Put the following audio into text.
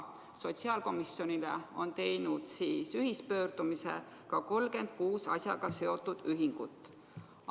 Sotsiaalkomisjoni poole on teinud ühispöördumise 36 asjaga seotud ühingut.